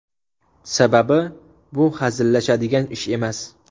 Sababi bu hazillashadigan ish emas.